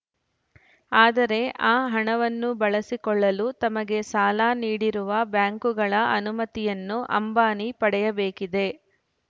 ಆದರೆ ಆ ಹಣವನ್ನು ಬಳಸಿಕೊಳ್ಳಲು ತಮಗೆ ಸಾಲ ನೀಡಿರುವ ಬ್ಯಾಂಕುಗಳ ಅನುಮತಿಯನ್ನು ಅಂಬಾನಿ ಪಡೆಯಬೇಕಿದೆ